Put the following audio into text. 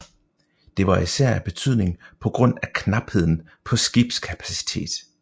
Det var især af betydning på grund af knapheden på skibskapacitet